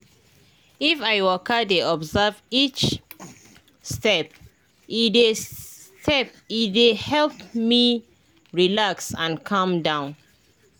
if i waka dey observe each step e dey step e dey help me relax and calm down.